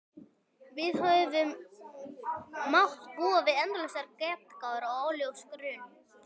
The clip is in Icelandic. Við höfum mátt búa við endalausar getgátur og óljósan grun.